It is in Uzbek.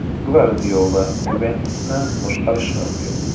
Gvardiola “Yuventus”ni boshqarishi mumkin.